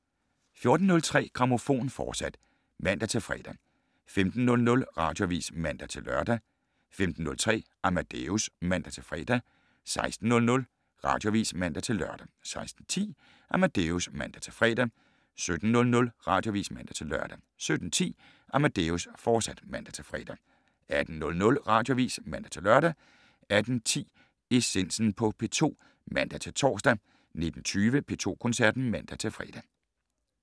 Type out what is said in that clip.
14:03: Grammofon, fortsat (man-fre) 15:00: Radioavis (man-lør) 15:03: Amadeus (man-fre) 16:00: Radioavis (man-lør) 16:10: Amadeus (man-fre) 17:00: Radioavis (man-lør) 17:10: Amadeus, fortsat (man-fre) 18:00: Radioavis (man-lør) 18:10: Essensen på P2 (man-tor) 19:20: P2 Koncerten (man-fre)